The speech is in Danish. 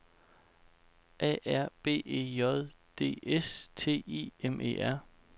A R B E J D S T I M E R